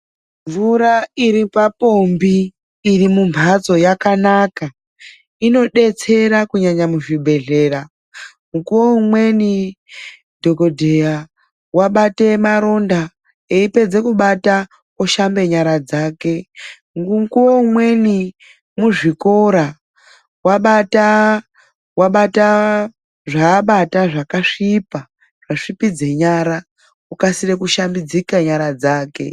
Mvura iri papombi iri mumphatso yakanaka. Inodetsera kunyanya muzvibhedhlera. Mukuwo umweni dhokodheya wabata maronda, eipedze kubata oshambe nyara dzake. Mukuwo umweni muzvikora, wabataa wabataa zvaabata zvakasvipa ,zvasvipidze nyara. Okasire kushambidzike nyara dzake.